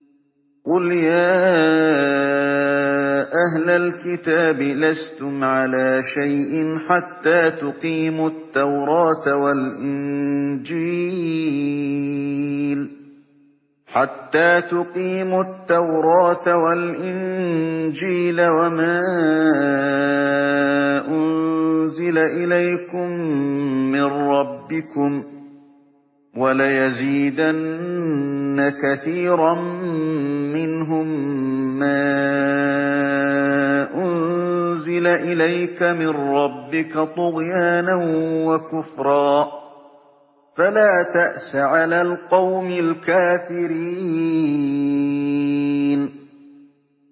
قُلْ يَا أَهْلَ الْكِتَابِ لَسْتُمْ عَلَىٰ شَيْءٍ حَتَّىٰ تُقِيمُوا التَّوْرَاةَ وَالْإِنجِيلَ وَمَا أُنزِلَ إِلَيْكُم مِّن رَّبِّكُمْ ۗ وَلَيَزِيدَنَّ كَثِيرًا مِّنْهُم مَّا أُنزِلَ إِلَيْكَ مِن رَّبِّكَ طُغْيَانًا وَكُفْرًا ۖ فَلَا تَأْسَ عَلَى الْقَوْمِ الْكَافِرِينَ